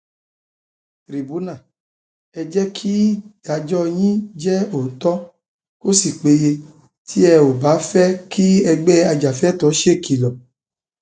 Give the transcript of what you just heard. tìrìbùnà ẹ jẹ kídáájọ yín jẹ òótọ kó sì péye tẹ ò bá fẹ kí ẹgbẹ ajàfẹtọọ ṣèkìlọ